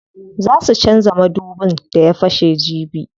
Zaa su canza madubin da ya fashe jibi.